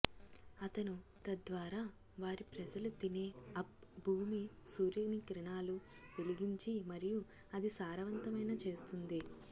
అతను తద్వారా వారి ప్రజలు తినే అప్ భూమి సూర్యుని కిరణాలు వెలిగించి మరియు అది సారవంతమైన చేస్తుంది